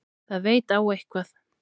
Það veit á eitthvað.